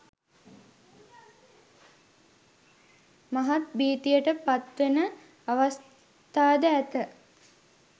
මහත් භීතියට පත්වෙන අවස්ථාද ඇත